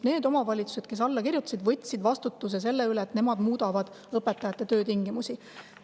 Need omavalitsused, kes alla kirjutasid, võtsid vastutuse selle eest, et nemad muudavad õpetajate töötingimusi.